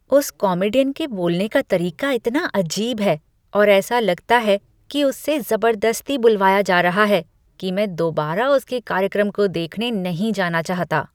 उस कॉमीडियन के बोलने का तरीका इतना अजीब है और ऐसा लगता है कि उससे जबरदस्ती बुलवाया जा रहा है कि मैं दोबारा उसके कार्यक्रम को देखने नहीं जाना चाहता।